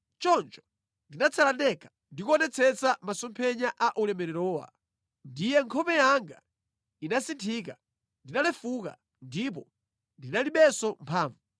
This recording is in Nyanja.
Choncho ndinatsala ndekha, ndikuonetsetsa masomphenya a ulemererowa. Ndiye nkhope yanga inasinthika, ndinalefuka, ndipo ndinalibenso mphamvu.